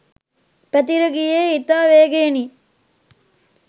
පැතිර ගියේ ඉතා වේගයෙනි.